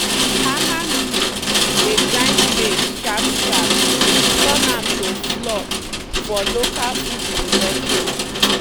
hammer mill dey grind maize sharp-sharp turn am to flour for local food production.